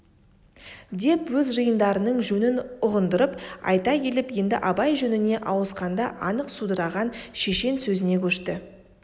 деп өз жиындарының жөнін ұғындырып айта келіп енді абай жөніне ауысқанда анық судыраған шешен сөзіне көшті